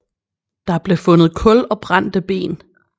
Der blev fundet kul og brændte ben